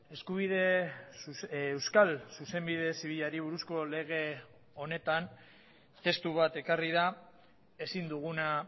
eskubide euskal zuzenbide zibilari buruzko lege honetan testu bat ekarri da ezin duguna